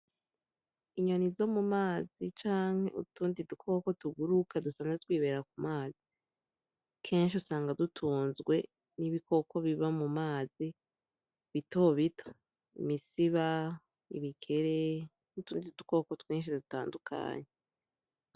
Inyoni zo mu mazi canke utundi dukoko tuguruka dusigaye twibera ku mazi. Kenshi usanga dutunzwe n'ibikoko biba mu mazi bito bito : imisiba, ibikere, n'utundi dukoko twinshi dutandukanye.